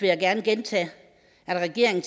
jeg gerne gentage at regeringen